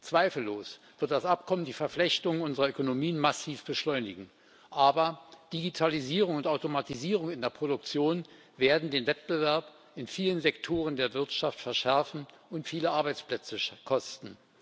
Zweifellos wird das Abkommen die Verflechtung unserer Ökonomien massiv beschleunigen, aber Digitalisierung und Automatisierung in der Produktion werden den Wettbewerb in vielen Sektoren der Wirtschaft verschärfen und viele Arbeitsplätze kosten.